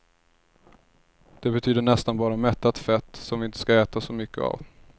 Det betyder nästan bara mättat fett som vi inte ska äta så mycket av.